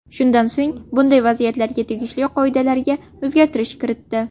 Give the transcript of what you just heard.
Shundan so‘ng, bunday vaziyatlarga tegishli qoidalariga o‘zgartirish kiritdi.